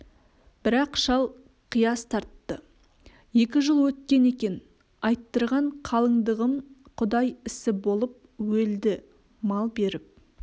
бірақ шал қияс тартты екі жыл өткен екен айттырған қалыңдығым құдай ісі болып өлді мал беріп